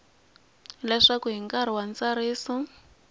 leswaku hi nkarhi wa ntsariso